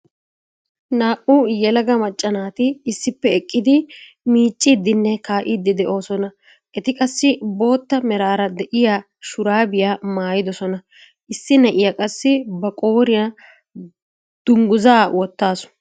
Naa"u yelaga macca naati issippe eqqidi miiccidinne kaa'iidi de'oosona. eti qassi bootta meraara de'iyaa shuraabiyaa maayidosona. issi na'iyaa qassi ba qooriyaa dunguzaa woottasu.